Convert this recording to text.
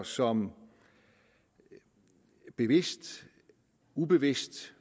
som bevidst ubevidst